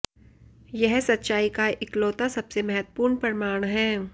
यह सच्चाई का इकलौता सबसे महत्वपूर्ण प्रमाण है